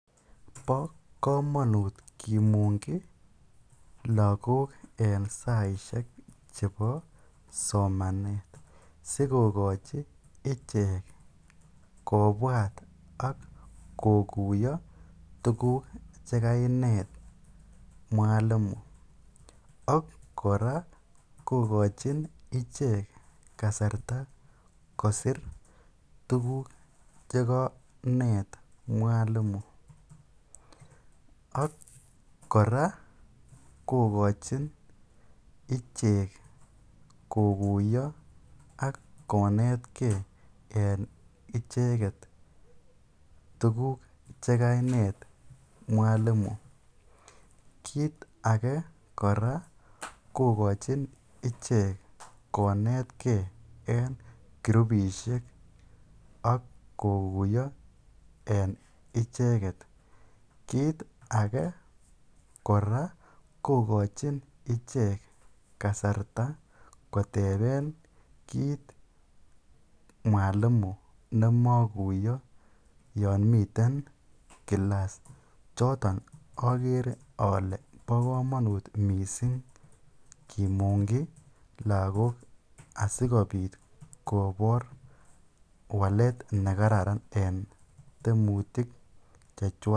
Bo komonut kimungyi lokok en saishek chebo somanet sikokochi ichek kobwat ak kokuiyo tukuk chekainet mwalimu ak kora kokochin ichek kasarta kosir tukuk chekanet mwalimu ak kora kokochin ichek kokochin ak kokuiyo konetke en icheket tukuk chekainet mwalimu, kiit akee kora kokochin ichek kokochin ichek ichek konetke en kurubishek ak kokuiyo en icheket, kiit akee kora kokochin ichek kasarta koteben kiit mwalimu nemokuiyo yoon miten kilas, choton okere olee bo komonut mising kimungyi lokok asikobit kobor walet nekararan en tiemutik chechwak.